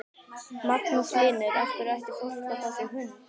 Magnús Hlynur: Af hverju ætti fólk að fá sér hund?